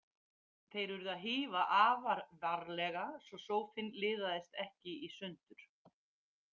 Þeir urðu að hífa afar varlega svo sófinn liðaðist ekki í sundur.